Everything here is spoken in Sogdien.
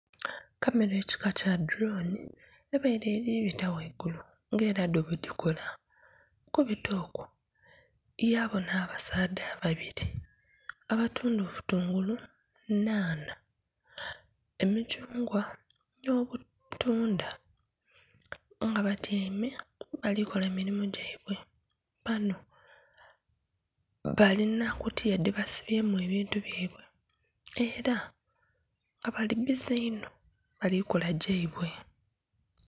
Kamera ekika kya dhulooni ebaire eli bita ghaigulu nga ela dho bwedhikola. Okubita okwo yabona abasaadha ababiri abatunda obutungulu, nhanha, emithungwa n'obutundha nga batyaime bali kola mirimo gyaibwe. Bano balina kutiya dhebasibyemu ebintu byaibwe ela nga bali bbize inho bali kola gyaibwe.